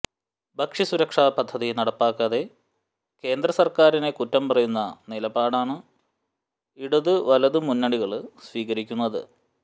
ഭക്ഷ്യ സുരക്ഷ പദ്ധതി നടപ്പാക്കാതെ കേന്ദ്ര സര്ക്കാരിനെ കുറ്റം പറയുന്ന നിലപാടാണ് ഇടത്വലത് മുന്നണികള് സ്വീകരിക്കുന്നത്